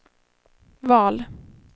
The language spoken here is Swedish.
val